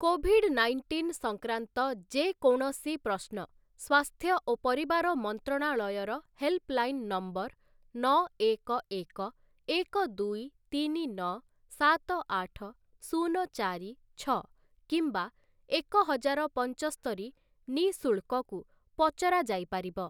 Covid nineteen ସଂକ୍ରାନ୍ତ ଯେ କୌଣସି ପ୍ରଶ୍ନ ସ୍ୱାସ୍ଥ୍ୟ ଓ ପରିବାର ମନ୍ତ୍ରଣାଳୟର ହେଲ୍ପଲାଇନ୍‌ ନମ୍ବର ନଅ ଏକ ଏକ ଏକ ଦୁଇ ତିନି ନଅ ସାତ ଆଠ ଶୂନ ଚାରି ଛଅ କିମ୍ବା ଏକ ହଜାର ପଞ୍ଚସ୍ତରି ନିଃଶୁଳ୍କକୁ ପଚରାଯାଇପାରିବ ।